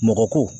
Mɔgɔ ko